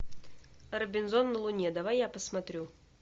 робинзон на луне давай я посмотрю